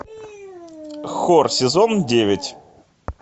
хор сезон девять